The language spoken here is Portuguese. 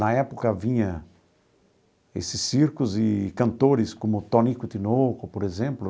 Na época, havia esses circos e cantores como Tonico e Tinoco, por exemplo,